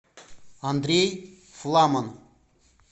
андрей фламан